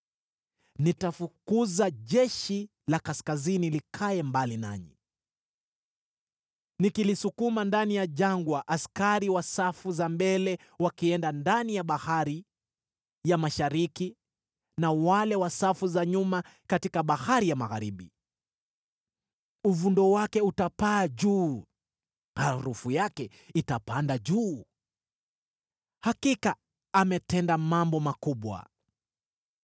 “Nitafukuza jeshi la kaskazini likae mbali nanyi, nikilisukuma ndani ya jangwa, askari wa safu za mbele wakienda ndani ya bahari ya mashariki na wale wa safu za nyuma katika bahari ya magharibi. Uvundo wake utapaa juu; harufu yake itapanda juu.” Hakika ametenda mambo makubwa.